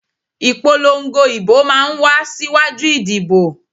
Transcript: Ìpolongo ìbò máa ń wá síwájú ìdìbò